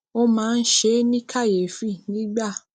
ó máa ń ṣe é ní kàyéfì nígbà